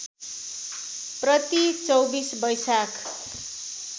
प्रति २४ वैशाख